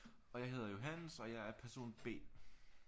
Og jeg hedder Johannes og jeg er person B